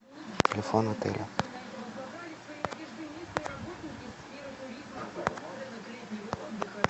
телефон отеля